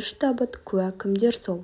үш табыт куә кімдер сол